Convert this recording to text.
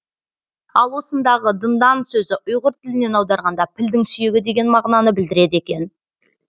ал осындағы дындан сөзі ұйғыр тілінен аударғанда пілдің сүйегі деген мағынаны білдіреді екен